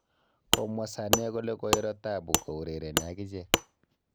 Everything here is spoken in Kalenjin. Komwa Sane kole koiro taabu kourereni ak ichek